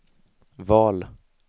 val